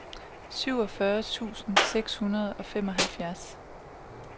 syvogfyrre tusind seks hundrede og femoghalvfems